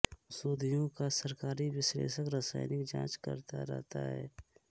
ओषधियों का सरकारी विश्लेषक रासायनिक जाँच करता रहता है